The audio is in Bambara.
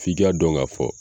F'i ka dɔn k'a fɔ